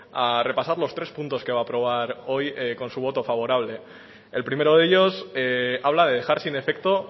a repasar los tres puntos que va a aprobar hoy con su voto favorable el primero de ellos habla de dejar sin efecto